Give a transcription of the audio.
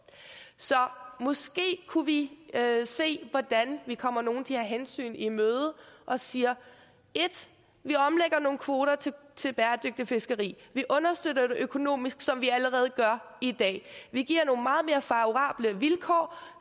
så måske kunne vi se hvordan vi kommer nogle af de her hensyn i møde ved at sige vi omlægger nogle kvoter til bæredygtigt fiskeri vi understøtter det økonomisk som vi allerede gør i dag vi giver nogle meget mere favorable vilkår